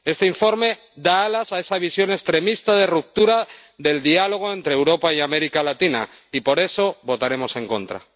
Este informe da alas a esa visión extremista de ruptura del diálogo entre Europa y América Latina y, por eso, votaremos en contra.